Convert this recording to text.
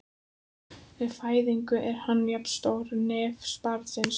Við fæðingu er hann jafn stór hnefa barnsins.